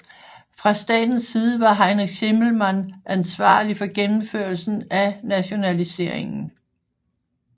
Fra statens side var Heinrich Schimmelmann ansvarlig for gennemførelsen af nationaliseringen